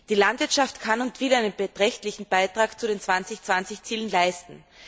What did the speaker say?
Die Landwirtschaft kann und will einen beträchtlichen Beitrag zu den 2020 Zielen leisten.